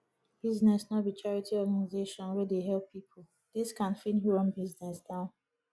business no be charity organization wey dey help pipo discount fit run business down